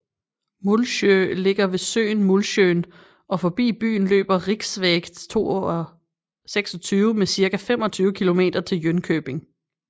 Mullsjö ligger ved søen Mullsjön og forbi byen løber riksväg 26 med cirka 25 kilometer til Jönköping